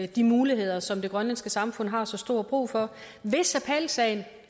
de muligheder som det grønlandske samfund har så stor brug for hvis appelsagen